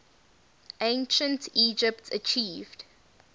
ancient egypt achieved